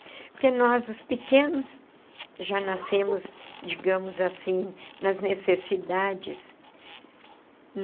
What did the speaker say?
Porque nós, os pequenos, já nascemos, digamos assim, nas necessidades.